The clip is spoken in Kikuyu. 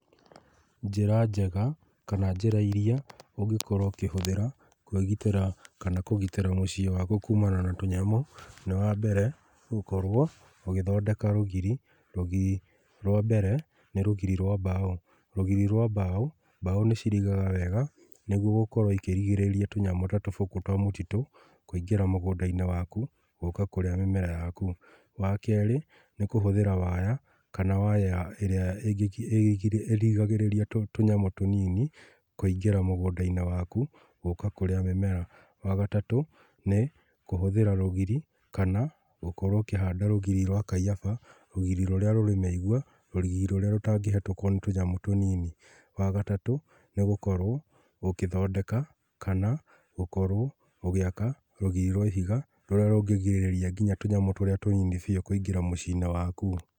Njĩra njega, kana njĩra iria, ũngĩkorwo ũkĩhũthĩra, kwĩgitĩra, kana kũgitĩra mũciĩ waku kumana na tũnyamũ, nĩ wa mbere, gũkorwo ũgĩthondeeka rũgiri, rũgiri rwa mbere nĩ rũgiri rwa mbao. Rũgirĩ rwa mbaũ, mbaũ nĩcirigaga wega, nĩguo gũkorwo ikĩrigĩrĩria tũnyamũ ta tũbũkũ twa mũtitũ, kũingĩra mũgũndainĩ waku, gũka kũrĩa mĩmera yaku. Wa kerĩ nĩkũhũthĩra waya, kana waya ya ĩrĩa ĩngĩ ĩrĩgiragĩrĩria tũ tũnyamũ tũnini kũingĩra mũgũndainĩ waku, gũka kũrĩa mĩmera. Wa gatatũ nĩ kũhũthĩra rũgiri, kana gũkorwo ũkĩhanda rũgiri rwa kaiyaba, rugiri rũrĩa rũrĩ mĩigua, rũgiri rũrĩa rũtangĩhetũkwo nĩ tũnyamũ tũnini. Wagataũ nĩgũkorwo gũkĩthondeka, kana gũkorwo ũgĩaka rũgiri rwa ihiga, rũrĩa rũngĩgirĩrĩria nginya tũnyamũ tũrĩa tũnini biũ kũingĩra mũciinĩ waku.